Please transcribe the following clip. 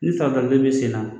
Ni bɛ sen na